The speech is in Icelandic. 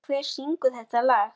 Hrói, hver syngur þetta lag?